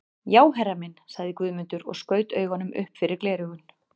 Já herra minn, sagði Guðmundur og skaut augum upp fyrir gleraugun.